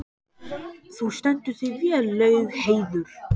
Þú stendur þig vel, Laugheiður!